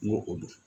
N ko o don